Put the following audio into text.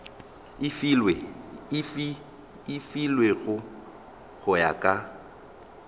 e filwego go ya ka